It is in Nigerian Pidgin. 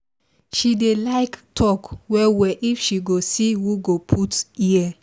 she dey like talk well well if she go see who go put ear